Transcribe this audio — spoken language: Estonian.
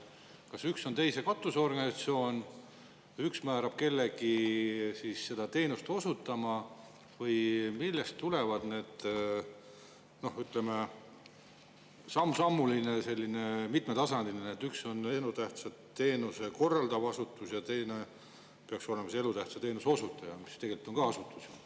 Kas üks on teise katusorganisatsioon, üks määrab kellegi seda teenust osutama või millest tuleneb selline, ütleme, sammsammuline ja mitmetasandiline, et üks on elutähtsat teenust korraldav asutus ja teine peaks olema elutähtsa teenuse osutaja, kuigi see tegelikult on ka asutus?